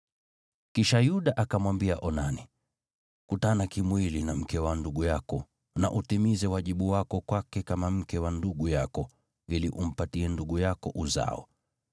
Kisha Yuda akamwambia Onani, “Kutana kimwili na mke wa ndugu yako, na utimize wajibu wako kwake kama mke wa ndugu yako, ili umpatie ndugu yako uzao.”